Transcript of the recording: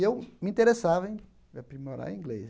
Eu me interessava em aprimorar inglês.